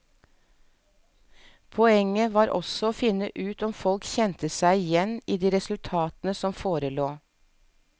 Poenget var også å finne ut om folk kjente seg igjen i de resultatene som forelå.